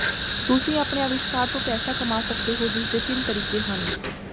ਤੁਸੀਂ ਆਪਣੇ ਅਵਿਸ਼ਕਾਰ ਤੋਂ ਪੈਸਾ ਕਮਾ ਸਕਦੇ ਹੋ ਜਿਸ ਦੇ ਤਿੰਨ ਤਰੀਕੇ ਹਨ